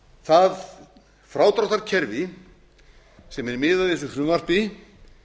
það frádráttarkerfi sem er miðað í þessu frumvarpi